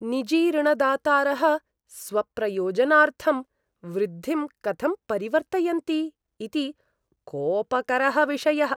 निजी ऋणदातारः स्वप्रयोजनार्थं वृद्धिं कथं परिवर्तयन्ति इति कोपकरः विषयः।